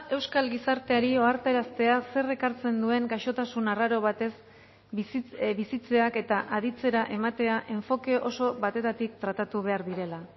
euskal gizarteari ohartaraztea zer ekartzen duen gaixotasun arraro batez bizitzeak eta aditzera ematea enfoke oso batetatik tratatu behar direla